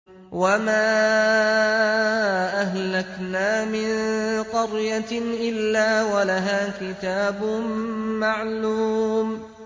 وَمَا أَهْلَكْنَا مِن قَرْيَةٍ إِلَّا وَلَهَا كِتَابٌ مَّعْلُومٌ